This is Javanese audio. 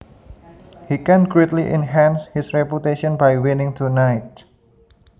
He can greatly enhance his reputation by winning tonight